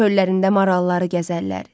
Çöllərində maralları gəzərlər.